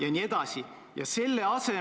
Aga nüüd see lippude küsimus.